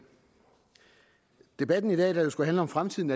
debatten i dag der jo skulle handle om fremtiden